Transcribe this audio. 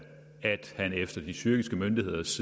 han efter de tyrkiske myndigheders